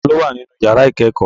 Ta ló wà nínú yàrá ìkẹ́kọ̀ọ́?